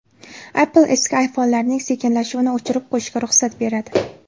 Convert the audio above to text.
Apple eski iPhone’larning sekinlashuvini o‘chirib qo‘yishga ruxsat beradi.